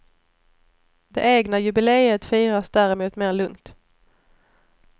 Det egna jubileet firas däremot mer lugnt.